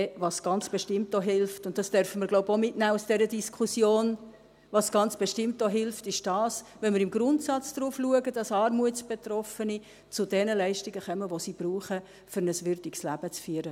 Was ganz bestimmt auch hilft – und das dürfen wir aus dieser Diskussion auch mitnehmen –, ist: Wenn wir im Grundsatz darauf achten, dass Armutsbetroffene zu den Leistungen kommen, die sie brauchen, um ein würdiges Leben zu führen.